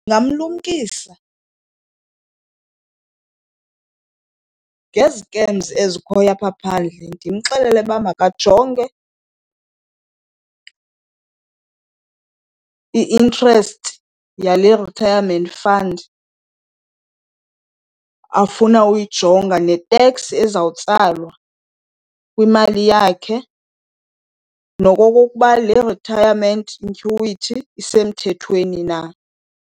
Ndingamlumkisa ngezikemzi ezikhoyo apha phandle. Ndimxelele uba makajonge i-interest yale retirement fund afuna uyijonga neteks ezawutsalwa kwimali yakhe, nokokuba le retirement annuity isemthethweni na.